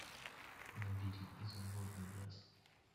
набери изумрудный лес